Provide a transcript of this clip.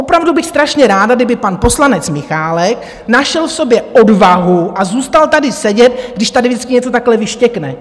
Opravdu bych strašně ráda, kdyby pan poslanec Michálek našel v sobě odvahu a zůstal tady sedět, když tady vždycky něco takhle vyštěkne.